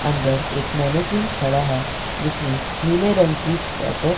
अंदर एक खड़ा है जिसने नीले रंग की स्वेटर --